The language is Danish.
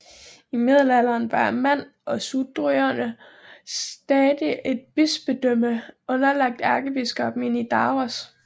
I middelalderen var Man og Sudrøerne stadig et bispedømme underlagt ærkebiskoppen i Nidaros